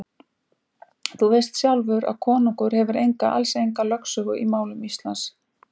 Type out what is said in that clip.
Þú veist sjálfur að konungur hefur enga, alls enga lögsögu í málum Íslands.